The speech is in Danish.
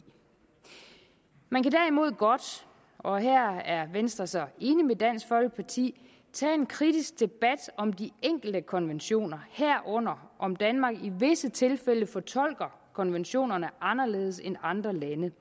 man kan derimod godt og her er venstre så enig med dansk folkeparti tage en kritisk debat om de enkelte konventioner herunder om danmark i visse tilfælde fortolker konventionerne anderledes end andre lande